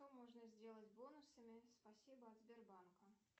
что можно сделать бонусами спасибо от сбербанка